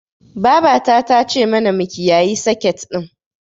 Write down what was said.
Babata ta ce mana mu kiyayi seket ɗin.